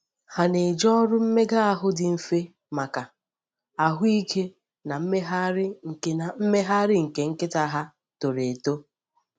Ha na-eji ọrụ mmega ahụ dị mfe maka ahụike na mmegharị nke na mmegharị nke nkịta ha toro eto.